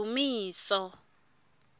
ndumiso